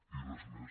i res més